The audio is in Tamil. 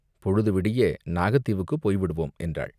பொழுது விடிய நாகத்தீவுக்குப் போய்விடுவோம்" என்றாள்.